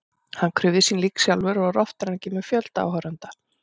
Hann krufði sín lík sjálfur og var oftar en ekki með fjölda áhorfenda.